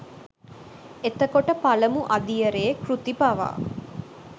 එතකොට පළමු අදියරේ කෘති පවා